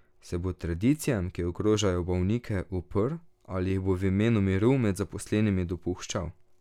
Se bo tradicijam, ki ogrožajo bolnike, uprl, ali jih bo v imenu miru med zaposlenimi dopuščal?